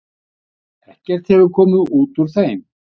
Ekkert hefur komið út úr þeim.